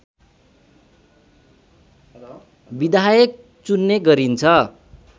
विधायक चुन्ने गरिन्छ